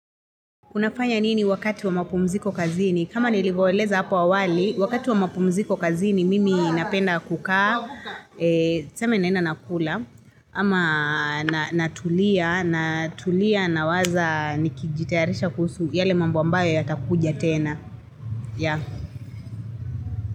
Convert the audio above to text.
Unafanya nini wakati wa mapumziko kazini? Kama nilivyoeleza hapo awali, wakati wa mapumziko kazini mimi napenda kukaa, tuseme nenda nakula, ama natulia, natulia nawaza nikijitayarisha kusu yale mambu ambayo yatakuja tena.